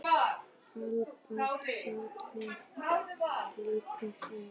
Alba sátt við líkama sinn